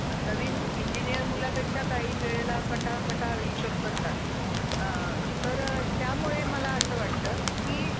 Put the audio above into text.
Okay अं म्हणजे काहीच खर्च लागणार नाही असं म्हणताय का तुम्ही?